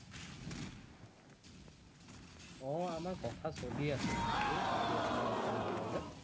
অ আমাৰ কথা চলি আছে actually গাড়ী এখন নতুন লবলে